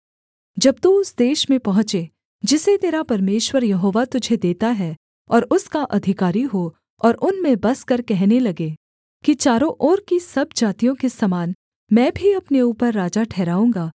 जब तू उस देश में पहुँचे जिसे तेरा परमेश्वर यहोवा तुझे देता है और उसका अधिकारी हो और उनमें बसकर कहने लगे कि चारों ओर की सब जातियों के समान मैं भी अपने ऊपर राजा ठहराऊँगा